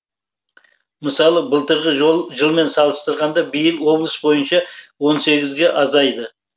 мысалы былтырғы жылмен салыстырғанда биыл облыс бойынша он сегізге азайды